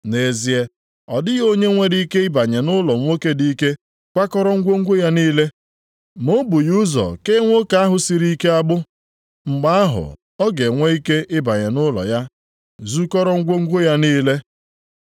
Nʼezie, ọ dịghị onye nwere ike ịbanye nʼụlọ nwoke dị ike kwakọrọ ngwongwo ya niile, ma o bughị ụzọ kee nwoke ahụ siri ike agbụ. Mgbe ahụ ọ ga-enwe ike ịbanye nʼụlọ ya, zukọrọ ngwongwo ya niile.